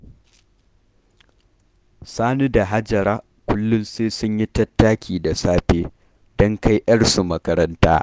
Sani da Hajara, kullum sai sun yi tattaki da safe, don kai 'yarsu makaranta